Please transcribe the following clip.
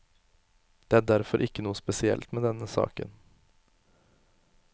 Det er derfor ikke noe spesielt med denne saken.